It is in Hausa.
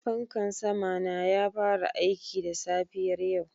Fankan sama na ya fara aiki da safiyar yau